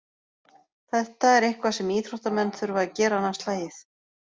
Þetta er eitthvað sem íþróttamenn þurfa að gera annað slagið.